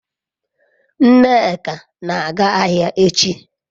nneka na-aga ahia echi